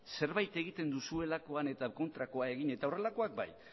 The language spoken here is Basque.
zerbait egiten duzuelakoan eta kontrakoa egin eta horrelakoak bai